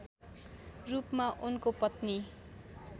रूपमा उनको पत्नी